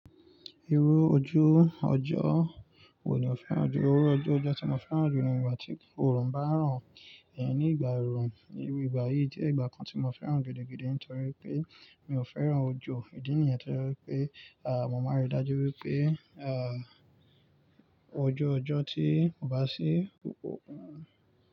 Irú ojú ọjọ́ wo ni o fẹ́ràn jù? Irú ojú ọjọ́ tí mo fẹ́ràn jù ni ìgbà tí oòrùn bá rán iyàn ní ìgbà erùn. Irú ìgbà yìí jẹ́ ìgbà kan tí mo fẹ́ràn gidi gidi ntorí wipé mi ò fẹ́ràn ojo ìdí nìyẹn toje wipé, à, mo máa ríi dájú wípé, à, ojú ọjọ́ tí ko bá sí ò.